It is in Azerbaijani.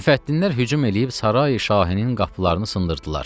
Müfəttinlərin hücum eləyib sarayi şahinin qapılarını sındırdılar.